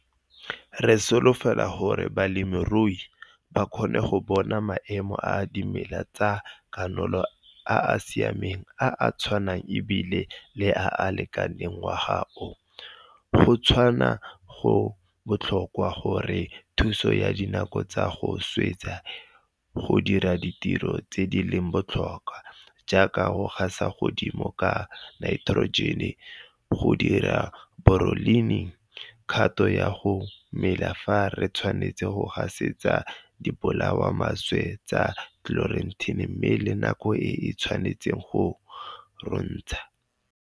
RE SOLOFELA GORE BALEMIRUI BA KGONNE GO BONA MAEMO A DIMELA TSA KANOLA A A SIAMENG, A A TSHWANANG E BILE LE A A LEKANENG NGWAGA O. GO TSHWANA GO BOTLHOKWA GO RE THUSA KA DINAKO TSA GO SWETSA GO DIRA DITIRO TSE DI LENG BOTLHOKWA, JAAKA GO GASETSAGODIMO KA NAITEROJENE, N, GO DIRISA BORONE, B, LENG, KGATO YA GO MELA FA RE TSHWANETSE GO GASETSA DIBOLAYAMALWETSE TSA SCLEROTINIA MME LE NAKO E E TSHWANETSENG GO RONTSHA.